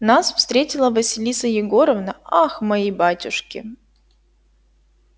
нас встретила василиса егоровна ах мои батюшки